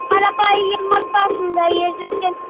қарапайым отбасында ер жеткен